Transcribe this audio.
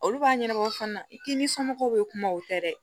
Olu b'a ɲɛnabɔ fana i k'i ni somɔgɔw bɛ kuma o tɛ dɛ